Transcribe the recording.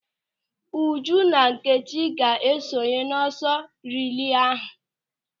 Uju na Nkechi ga-esonye n'ọsọ rilee ahụ.